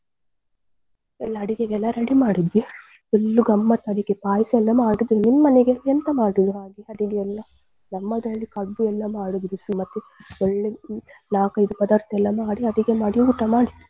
ಎಲ್ಲ ಅಡಿಗೆಗೆಲ್ಲ ready ಮಾಡಿದ್ವಿ full ಗಮ್ಮತ್ ಅಡಿಗೆ ಪಾಯಸ ಎಲ್ಲ ಮಾಡಿದ್ವಿ ನಿಮ್ಮನೆಗೆ ಎಂತ ಮಾಡಿದಿರ ಅಡಿಗೆಯೆಲ್ಲಾ ನಮ್ಮದಲ್ಲಿ ಕಡ್ಬು ಎಲ್ಲ ಮಾಡುದು ಬಿಸಿ ಮತ್ತೆ ಎಲ್ಲ ನಾಕ್ ಐದು ಪದಾರ್ಥಯೆಲ್ಲ ಮಾಡಿ ಅಡಿಗೆ ಊಟ ಮಾಡಿದ್ದು.